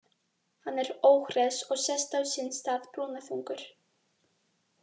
Hann er óhress og sest á sinn stað, brúnaþungur.